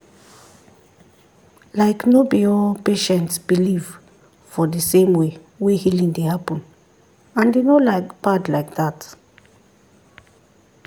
like no be all patients believe for the same way wey healing dey happen and e no bad like that.